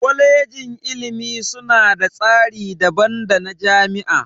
Kwalejin ilimi suna da tsari daban dana jami'a.